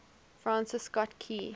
francis scott key